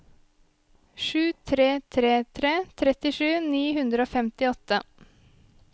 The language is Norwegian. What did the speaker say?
sju tre tre tre trettisju ni hundre og femtiåtte